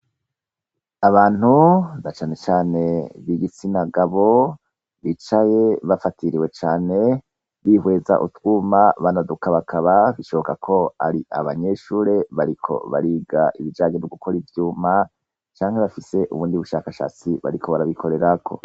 Abantu dacane cane b'igitsina gabo bicaye bafatiriwe cyane bihweza utwuma banaduka bakaba bishoboka ko ari abanyeshure bariko bariga ibijagenye mogukora ibyuma cyangwe bafise ubundi bushakashatsi bariko barabikorera ko.